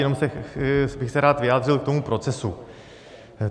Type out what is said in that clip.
Jenom bych se rád vyjádřil k tomu procesu.